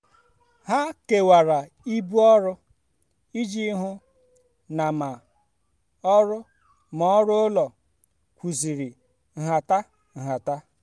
ha kewara ibu ọrụ iji hụ na ma ọrụ ma ọrụ ụlọ kwụziri nhata. nhata.